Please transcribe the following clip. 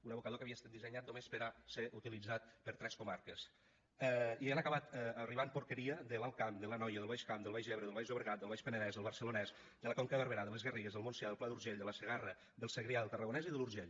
un abocador que havia estat dissenyat només per a ser utilitzat per tres comarques i hi ha acabat arribant porqueria de l’alt camp de l’anoia del baix camp del baix ebre del baix llobregat del baix penedès del barcelonès de la conca de barberà de les garrigues del montsià del pla d’urgell de la segarra del segrià del tarragonès i de l’urgell